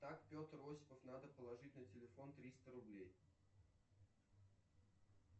так петр осипов надо положить на телефон триста рублей